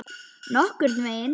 Nokkurn veginn.